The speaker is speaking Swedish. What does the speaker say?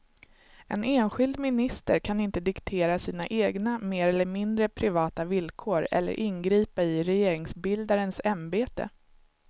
En enskild minister kan inte diktera sina egna mer eller mindre privata villkor eller ingripa i regeringsbildarens ämbete.